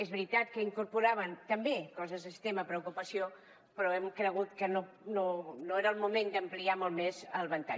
és veritat que incorporaven també coses d’extrema preocupació però hem cregut que no era el moment d’ampliar molt més el ventall